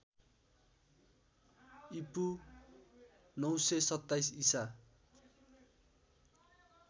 ईपू ९२७ ईसा